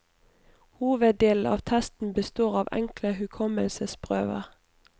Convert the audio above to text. Hoveddelen av testen består av enkle hukommelsesprøver.